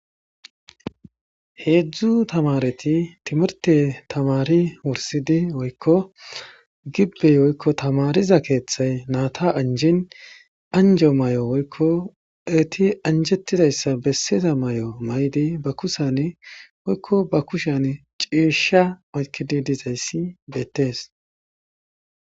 Hezhu tamareti timirte tamari wursidi gibey woyko tamariza keethay nayta anjin eeti anjetizaysa besiza mayo mayidi be kushani ciisha oykidi dizays better.